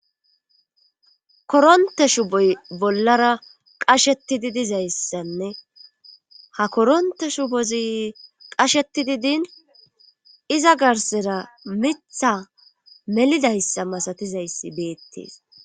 koronte shuboy bollara qasheti didizayssanne ha koronte shubozi qasheti didin iza garsera mitha melidayssa masatizayssi beettees